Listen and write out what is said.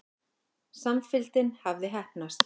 Samfylgdin hafði heppnast.